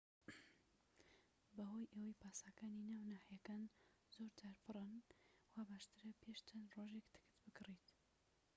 بەهۆی ئەوەی پاسەکانی ناو ناحیەکان زۆرجار پڕن واباشترە پێش چەند ڕۆژێك تکت بکڕیت